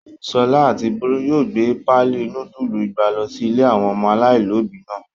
Ṣọlá àti Bólú yóò gbé páálí núdúlù igba lọ sí ilé àwọn ọmọ aláìlóòbí náà.